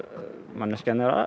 manneskjan er